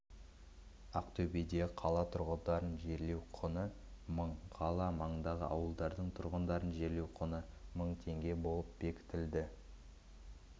ақтөбеде қала тұрғындарын жерлеу құны мың қала маңындағы ауылдардың тұрғындарын жерлеу құны мың теңге болып бекітілді